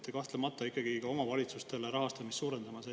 Te kahtlemata peate ikkagi omavalitsuste rahastamist suurendama.